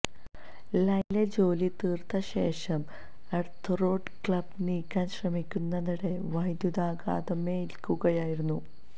ലൈനിലെ ജോലി തീര്ത്ത ശേഷം എര്ത്ത് റോഡ് ക്ലാമ്പ് നീക്കാന് ശ്രമിക്കുന്നതിനിടെ വൈദ്യുതാഘാതമേല്ക്കുകയായിരുന്നു